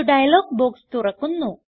ഒരു dialog box തുറക്കുന്നു